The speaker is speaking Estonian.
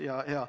Jajaa.